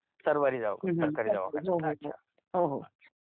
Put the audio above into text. सरकारी दवाखान्यातच